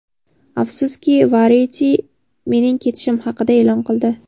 Afsuski, Variety mening ketishim haqida e’lon qildi.